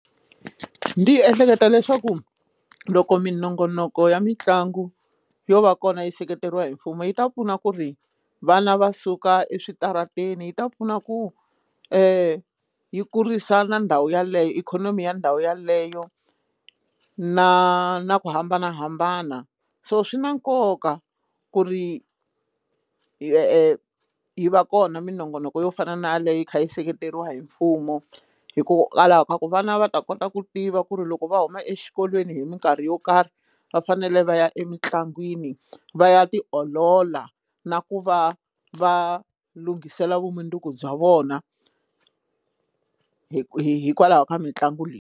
Ndi ehleketa leswaku loko minongonoko ya mitlangu yo va kona yi seketeriwa hi mfumo yi ta pfuna ku ri vana va suka eswitarateni yi ta pfuna ku yi kurisa ndhawu yeleyo ikhonomi ya ndhawu yeleyo na na ku hambanahambana so swi na nkoka ku ri yi va kona minongonoko yo fana na leyo yi kha yi seketeriwa hi mfumo hikokwalaho ka ku vana va ta kota ku tiva ku ri loko va huma exikolweni hi mikarhi yo karhi va fanele va ya emitlangwini va ya tiolola na ku va va lunghisela vumundzuku bya vona hi hikwalaho ka mitlangu leyi.